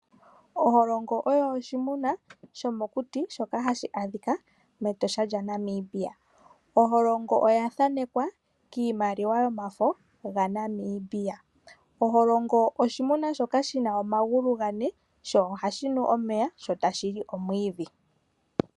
Okamenye oko oshinamwenyo shomokuti shoka hashi adhika mEtosha moNamibia. Okamwenye oka thanekwa kiimaliwa yomafo yaNamibia. Okamwenye oshinamwenyo shoka shi na omagulu gane sho ohashi nu omeya sho tashi nu omwiidhi.